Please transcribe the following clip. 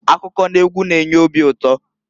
Akụkọ n'egwu na-enye obi ụtọ.